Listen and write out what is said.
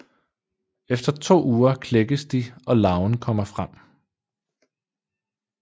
Efter to uger klækkes de og larven kommer frem